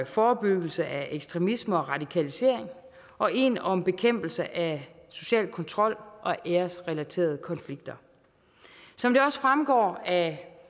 forebyggelse af ekstremisme og radikalisering og en om bekæmpelse af social kontrol og æresrelaterede konflikter som det også fremgår af